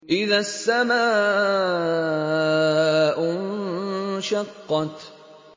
إِذَا السَّمَاءُ انشَقَّتْ